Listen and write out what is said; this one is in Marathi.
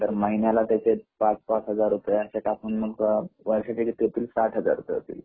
तर महिन्याला त्याचे सात सात हजार रुपये असे टाकून वर्षाचे काहीतरी साठ हजार रुपये होतील